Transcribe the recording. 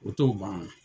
O t'o ban